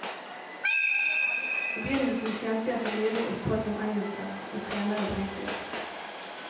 I begynnelsen tjente jeg til livets opphold som engelsklærer og trener i bryting.